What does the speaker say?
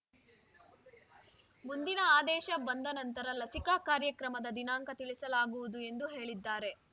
ಮುಂದಿನ ಆದೇಶ ಬಂದ ನಂತರ ಲಸಿಕಾ ಕಾರ್ಯಕ್ರಮದ ದಿನಾಂಕ ತಿಳಿಸಲಾಗುವುದು ಎಂದು ಹೇಳಿದ್ದಾರೆ